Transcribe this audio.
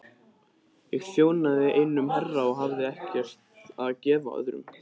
Ég þjónaði einum herra og hafði ekkert að gefa öðrum.